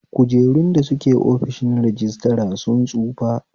Kujerun da suke ofishin rajistra sun tsufa